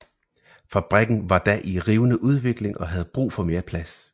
Fabrikken var da i rivende udvikling og havde brug for mere plads